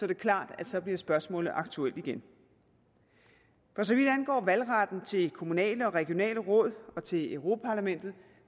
det klart at så bliver spørgsmålet aktuelt igen for så vidt angår valgretten til kommunale og regionale råd og til europa parlamentet